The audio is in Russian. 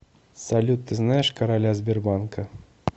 салют ты знаешь короля сбербанка